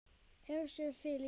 Hersir: Þið líka?